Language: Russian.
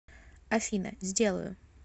афина сделаю